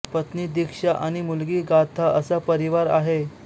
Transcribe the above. पत्नी दीक्षा आणि मुलगी गाथा असा परिवार आहे